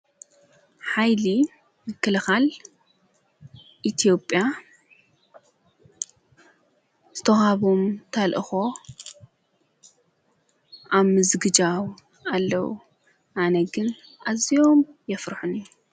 ኃይሊ ንክልኻል ኢቲዮጵያ ዝተውሃቦም ተልእኾ ኣምዝግጃው ኣለዉ ኣነግን ኣዚኦም የፍርሑን እዩ።